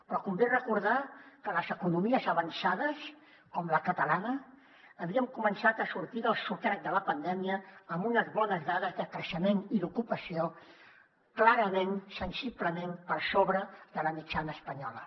però convé recordar que les economies avançades com la catalana havíem començat a sortir del sotrac de la pandèmia amb unes bones dades de creixement i d’ocupació clarament sensiblement per sobre de la mitjana espanyola